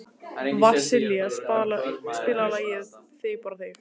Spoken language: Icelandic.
Vasilia, spilaðu lagið „Þig bara þig“.